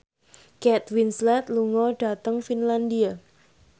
Kate Winslet lunga dhateng Finlandia